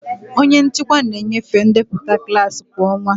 Onye nchịkwa na-enyefe ndepụta klaasị kwa ọnwa.